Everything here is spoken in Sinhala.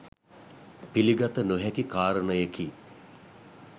පිළිගත නොහැකි කාරණයකි.